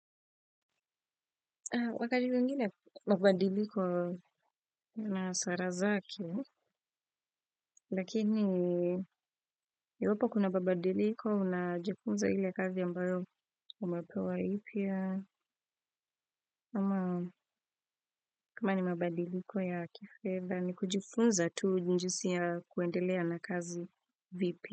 Wakati mwingine mabadiliko una hasara zake lakini iwapo kuna mabadiliko unajifunza ile kazi ambayo umepewa mpya ama kama ni mabadiliko ya kifedha ni kujifunza tu jisi ya kuendelea na kazi vipya.